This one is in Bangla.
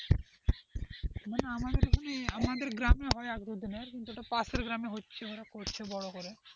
মানে আমাদের গ্রামের মানে আমাদের গ্রামের হয় বলতে নাই আমাদের পাশের গ্রামে হচ্ছে ওরা করছে বড় করে,